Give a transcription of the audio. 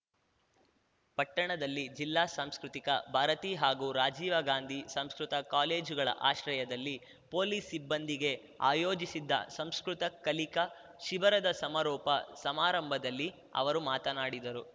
ಪಟ್ಟಣದಲ್ಲಿ ಜಿಲ್ಲಾ ಸಂಸ್ಕೃತಿಕಾ ಭಾರತೀ ಹಾಗೂ ರಾಜೀವಗಾಂಧಿ ಸಂಸ್ಕೃತ ಕಾಲೇಜುಗಳ ಆಶ್ರಯದಲ್ಲಿ ಪೊಲೀಸ್‌ ಸಿಬ್ಬಂದಿಗೆ ಆಯೋಜಿಸಿದ್ದ ಸಂಸ್ಕೃತ ಕಲಿಕಾ ಶಿಬಿರದ ಸಮಾರೋಪ ಸಮಾರಂಭದಲ್ಲಿ ಅವರು ಮಾತನಾಡಿದರು